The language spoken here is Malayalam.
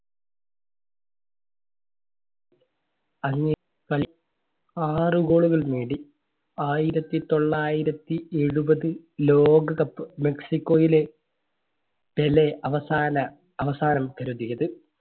ആറ് goal കൾ നേടി ആയിരത്തി തൊള്ളായിരത്തി എഴുപത് ലോക കപ്പ് മെക്സിക്കോയിലെ പെലെ അവസാന, അവസാനം പൊരുതിയത്.